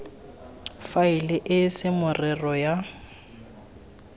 fela e se merero ya